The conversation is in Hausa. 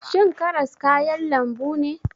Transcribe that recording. Shin karas kayan lambu ne?